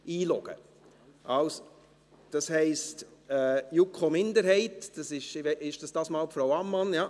Spricht für die JuKo-Minderheit diesmal Frau Ammann?